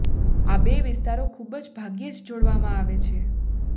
આ બે વિસ્તારો ખૂબ જ ભાગ્યે જ જોડવામાં આવે છે